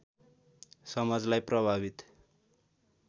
समाजलाई प्रभावित